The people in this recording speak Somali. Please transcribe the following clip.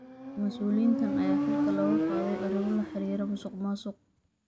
Mas’uuliyiintan ayaa xilka looga qaaday arrimo la xiriira musuqmaasuq.